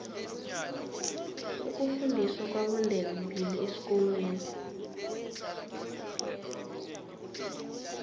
ukufundiswa kwabondebembili esikolweni